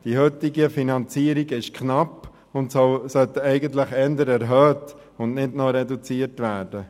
Die heutige Finanzierung ist knapp, sie sollte eigentlich eher erhöht und nicht weiter reduziert werden.